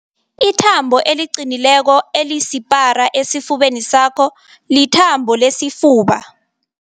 Ithambo eliqinileko elisipara esifubeni sakho lithambo lesifuba